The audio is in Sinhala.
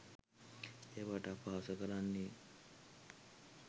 ඒවාට අපහස කරන්නේ